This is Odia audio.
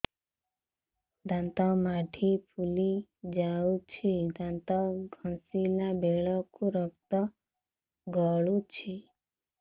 ଦାନ୍ତ ମାଢ଼ୀ ଫୁଲି ଯାଉଛି ଦାନ୍ତ ଘଷିଲା ବେଳକୁ ରକ୍ତ ଗଳୁଛି